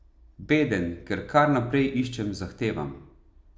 Beden, ker kar naprej iščem, zahtevam.